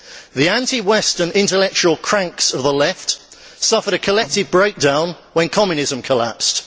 The anti Western intellectual cranks of the Left suffered a collective breakdown when Communism collapsed.